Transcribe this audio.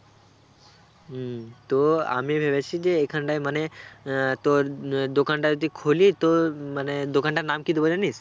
উম তো আমি ভেবেছি যে এখানটায় মানে আহ তোর উম আহ দোকানটা যদি খুলি তো উম মানে দোকানটার নাম কি দেবো জানিস?